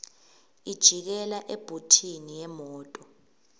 ijikela ebhuthini yemoto